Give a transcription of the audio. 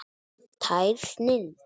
Tær snilld.